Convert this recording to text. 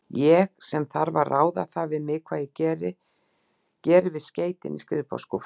Ég, sem þarf að ráða það við mig, hvað ég geri við skeytin í skrifborðsskúffunni.